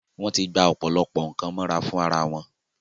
wọ́n ti gba ọ̀pọ̀lọpọ̀ nǹkan mọ́ra fún ara wọn.